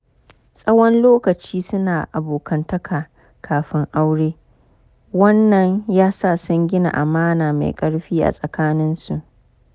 Tsawon lokaci suna abokantaka kafin aure, wan nan yasa sun gina amana mai ƙarfi a tsakaninsu.